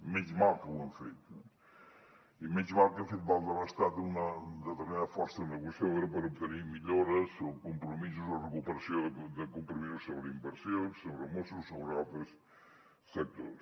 encara sort que ho hem fet eh i encara sort que hem fet valdre a l’estat una determinada força negociadora per obtenir millores o compromisos o recuperació de compromisos sobre inversions sobre mossos sobre altres sectors